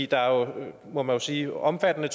der er jo må man sige omfattende